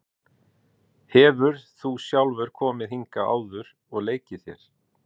Hefur þú sjálfur komið hingað áður og leikið þér?